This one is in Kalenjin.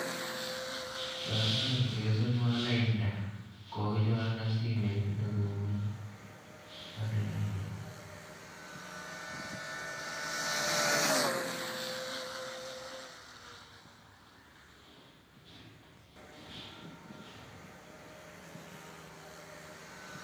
Toreto replasenwo lainda kokichorena simeet nekomii ak lainda.